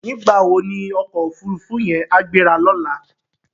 Nigbá wó ni òkò ófúrúfú yèn á gbérá lòlá?